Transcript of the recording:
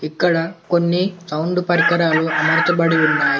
ఇక్కడ కొన్ని సౌండ్ పరికరాలు అమర్చబడి ఉన్నాయి.